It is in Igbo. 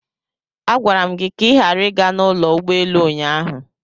Agwara m gị ka ị ghara ịga n'ụlọ ụgbọelu ụnyaahụ!